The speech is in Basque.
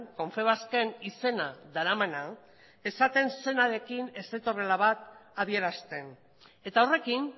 confebasken izena daramana esaten zenarekin ez zetorrela bat adierazten eta horrekin